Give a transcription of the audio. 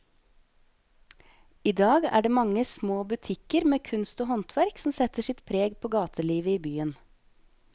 I dag er det de mange små butikkene med kunst og håndverk som setter sitt preg på gatelivet i byen.